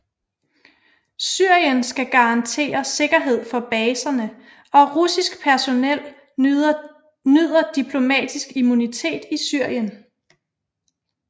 Syrien skal garantere sikkerhed for baserne og russisk personel nyder diplomatisk immunitet i Syrien